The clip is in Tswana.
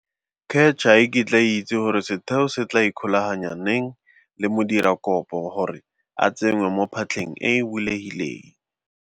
CACH ga e kitla e itse gore setheo se tla ikgolaganya neng le modirakopo gore a tsengwe mo phatlheng e e bulegileng.